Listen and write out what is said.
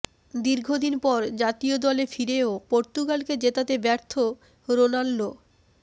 দীর্ঘদিন পর জাতীয় দলে ফিরেও পর্তুগালকে জেতাতে ব্যর্থ রোনাল্ডো